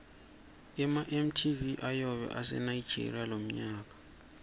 ema mtv ayobe ase nigeria lomnyaka